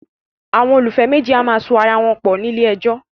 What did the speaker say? Àwọn olólùfẹ́ méjì a máa so ara wọn pọ̀ ní ilé ẹjọ́